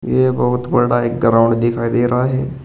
ये बहुत बड़ा एक ग्राउंड दिखाई दे रहा है।